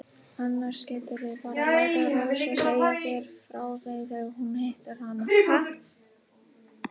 Annars geturðu bara látið Rósu segja þér frá þeim þegar þú hittir hana.